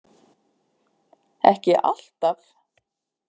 Ekki alltaf.